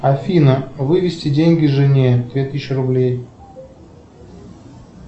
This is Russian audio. афина вывести деньги жене две тысячи рублей